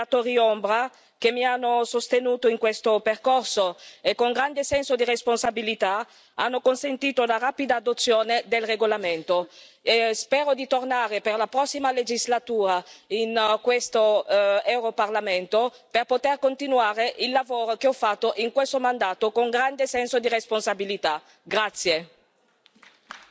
Ringrazio i relatori ombra che mi hanno sostenuta in questo percorso e, con grande senso di responsabilità, hanno consentito la rapida adozione del regolamento e spero di tornare per la prossima legislatura in questo europarlamento, per poter continuare il lavoro che ho fatto in questo mandato con grande senso di responsabilità, grazie.